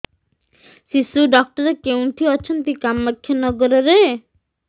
ଶିଶୁ ଡକ୍ଟର କୋଉଠି ଅଛନ୍ତି କାମାକ୍ଷାନଗରରେ